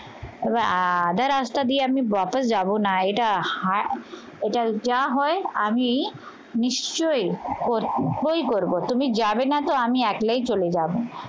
এবার আদার রাস্তা দিয়ে আমি যাব না এটা যা হয় আমি নিশ্চয়ই বই করবো তুমি যাবে না তো আমি একলাই চলে যাবো।